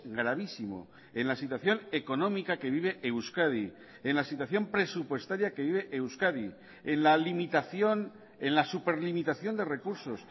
gravísimo en la situación económica que vive euskadi en la situación presupuestaria que vive euskadi en la limitación en la superlimitación de recursos